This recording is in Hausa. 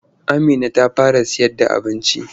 Amina ta fara sayarda abinci.